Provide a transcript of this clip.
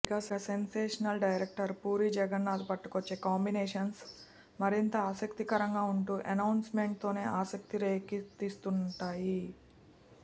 ఇక sensational director Puri Jagannadh పట్టుకొచ్చే కాంబినేషన్స్ మరింత ఆసక్తికరంగా ఉంటూ అనౌన్స్మెంట్తోనే ఆసక్తి రేకెత్తిస్తుంటాయి